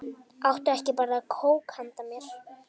Áttu ekki bara kók handa mér?